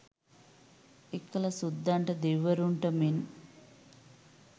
එකල සුද්දන්ට දෙවිවරුන්ට මෙන්